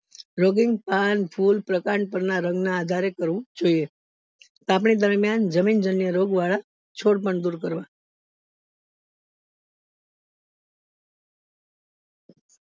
પણ ફૂલ ના રંગ ના આધારે કરવું જોઈએ તપણી દરીમિયન જમીન જન્ય રોગો વાળા છોડ પણ દુર કરવા